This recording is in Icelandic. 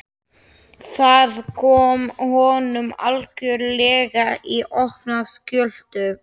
Það kom honum algjörlega í opna skjöldu.